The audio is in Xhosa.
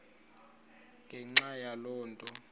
ngenxa yaloo nto